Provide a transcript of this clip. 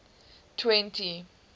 twenty